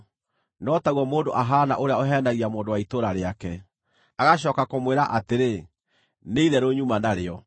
no taguo mũndũ ahaana ũrĩa ũheenagia mũndũ wa itũũra rĩake, agacooka kũmwĩra atĩrĩ, “Nĩ itherũ nyuma narĩo!”